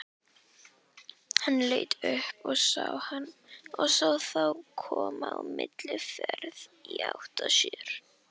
Hann leit upp og sá þá koma á mikilli ferð í átt að sér.